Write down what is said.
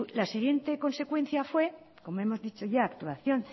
la siguiente consecuencia fue como hemos dicho ya actuación